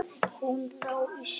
Hún lá í snjónum.